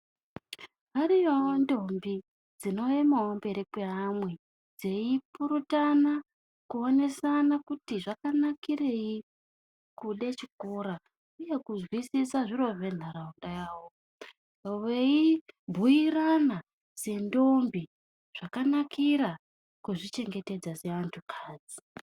Ariyo ndombi dzinoemawo mberi kwaamwe dzeipurutana kuonesana kuti zvakanakirei kude chikora. Uye kuzwisisa zviro zvenharaunda yawo. Veibhuyirana sendombi zvakanakira kuzvichengetedza seantu akadzi.